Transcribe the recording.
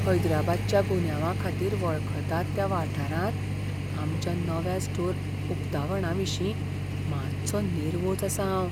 हैदराबादच्या गुन्यांवाखातीर वळखतात त्या वाठारांत आमच्या नव्या स्टोर उकतावणाविशीं मातसो नेर्वोज आसां हांव.